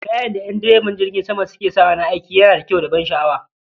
Kayan da en direban jirgin sama suke sawa na aiki yana da kyau da ban sha'awa